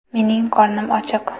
Mening qornim ochiq!